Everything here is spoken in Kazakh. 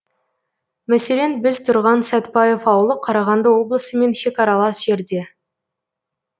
мәселен біз тұрған сәтбаев ауылы қарағанды облысымен шекаралас жерде